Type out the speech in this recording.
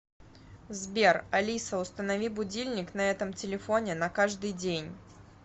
сбер алиса установи будильник на этом телефоне на каждый день